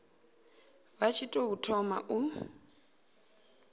vha tshi tou thoma u